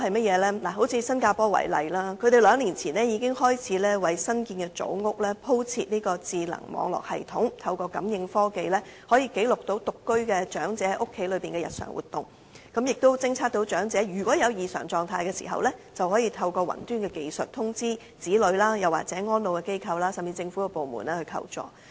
以新加坡為例，他們兩年前已開始為新建組屋鋪設智能網絡系統，可以記錄獨居長者在家中的日常活動，偵測到長者有異常狀態時，便可透過雲端技術通知其子女或安老機構，甚至向政府部門求助。